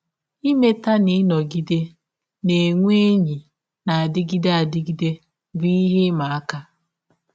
Imeta na ịnọgide na - enwe enyi na - adịgide adịgide bụ ihe ịma aka.